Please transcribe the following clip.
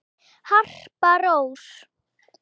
Harpa Rós.